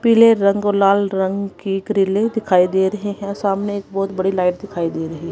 पीले रंग लाल रंग की ग्रीले दिखाई दे रहे हैं सामने एक बहोत बड़ी लाइट दिखाई दे रही--